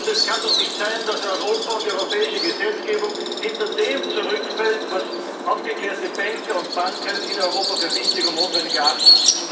Es kann doch nicht sein, dass Europa und die europäische Gesetzgebung hinter dem zurückfallen, was aufgeklärte Banker und Banken in Europa für wichtig und notwendig erachten.